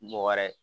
Mɔgɔ wɛrɛ